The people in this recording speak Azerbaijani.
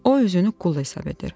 O özünü qul hesab edir.